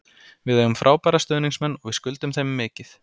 Við eigum frábæra stuðningsmenn og við skuldum þeim mikið.